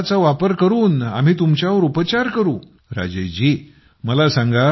त्याच कार्डचा वापर करून मी तुमच्यावर उपचार करीन